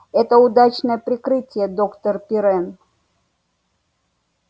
это удачное прикрытие доктор пиренн